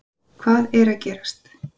HVAÐ ER AÐ GERAST???